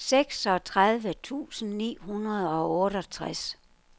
seksogtredive tusind ni hundrede og otteogtres